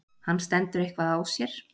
hann stendur eitthvað á sér.